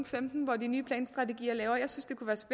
femten hvor de nye planstrategier bliver lavet